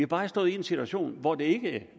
bare stået i en situation hvor det ikke